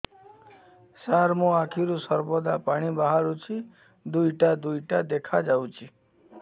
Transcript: ସାର ମୋ ଆଖିରୁ ସର୍ବଦା ପାଣି ବାହାରୁଛି ଦୁଇଟା ଦୁଇଟା ଦେଖାଯାଉଛି